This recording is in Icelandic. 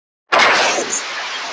Þetta eru allt góð lið.